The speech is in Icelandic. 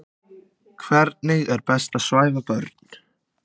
Hvernig er best að svæfa börn?